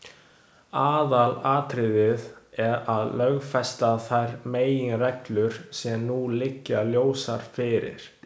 Aðalatriðið er að lögfesta þær meginreglur sem nú liggja ljósar fyrir.